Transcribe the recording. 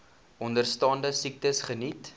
onderstaande siektes geniet